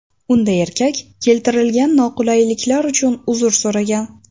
Unda erkak keltirilgan noqulayliklar uchun uzr so‘ragan.